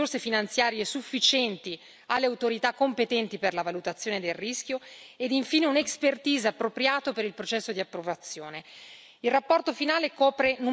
Come secondo punto, l'allocazione di risorse finanziarie sufficienti alle autorità competenti per la valutazione del rischio e, infine, un expertise appropriato per il processo di approvazione.